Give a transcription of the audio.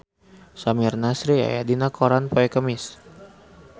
Samir Nasri aya dina koran poe Kemis